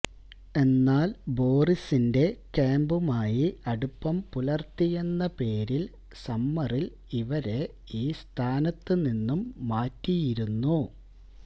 എന്നാൽ ബോറിസിന്റെ ക്യാമ്പുമായി അടുപ്പം പുലർത്തിയെന്ന പേരിൽ സമ്മറിൽ ഇവരെ ഈ സ്ഥാനത്ത് നിന്നും മാറ്റിയിരുന്നു